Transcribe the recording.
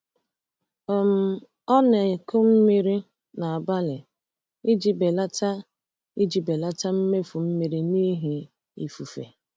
um Ọ na-akụ mmiri n’abalị iji belata iji belata mmefu mmiri n’ihi ifufe.